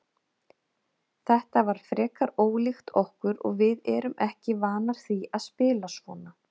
Þetta var frekar ólíkt okkur og við erum ekki vanar því að spila svona.